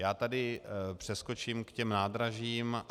Já tady přeskočím k těm nádražím.